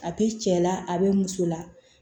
A bɛ cɛ la a bɛ muso la